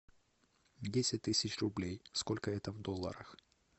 десять тысяч рублей сколько это в долларах